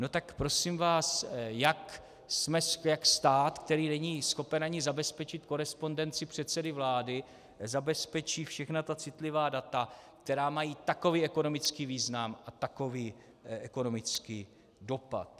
No tak prosím vás, jak stát, který není schopen ani zabezpečit korespondenci předsedy vlády, zabezpečí všechna ta citlivá data, která mají takový ekonomický význam a takový ekonomický dopad?